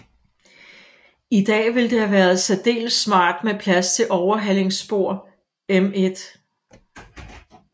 I dag ville det have været særdeles smart med plads til overhalingsspor ml